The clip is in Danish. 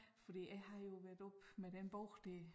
Fordi jeg har jo været oppe med den bog dér